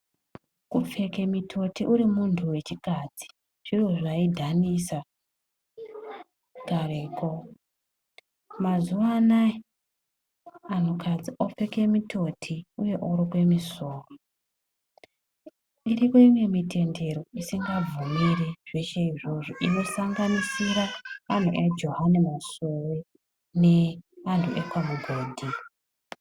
Kupfeke mutoti urimunhu wechikadzi zviro zvaidhanisa kareko, mazuwanai anhukadzi opfeke mitoti uye orukwe misoro iriko imwe mitendero isingabvumiri zveshe izvozvo inosanganisira anhu ekweJohani Masowe neanhu ekwaMugodhi.